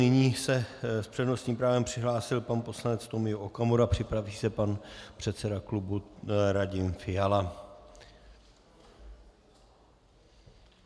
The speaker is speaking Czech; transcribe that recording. Nyní se s přednostním právem přihlásil pan poslanec Tomio Okamura, připraví se pan předseda klubu Radim Fiala.